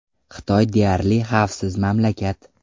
Xitoy deyarli xavfsiz mamlakat.